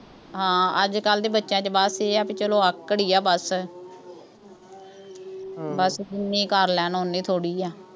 ਹਾਂ ਅੱਜਕੱਲ੍ਹ ਦੇ ਬੱਚਿਆਂ ਚ ਬੱਸ ਇਹ ਆ ਬਈ ਚੱਲੋ ਆਕੜ ਹੀ ਆ, ਬੱਸ ਬੱਸ ਜਿੰਨੀ ਕਰ ਲੈਣ ਉੱਨੀ ਥੋੜ੍ਹੀ ਆ।